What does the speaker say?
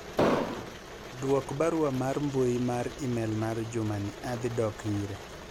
dwok barua mar mbui mar email mar Juma ni adhi dok ire